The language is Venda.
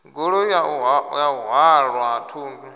goloi ya u halwa thundu